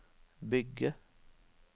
bygge